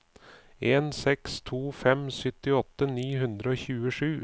en seks to fem syttiåtte ni hundre og tjuesju